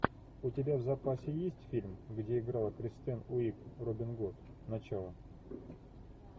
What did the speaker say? у тебя в запасе есть фильм где играла кристен уиг робин гуд начало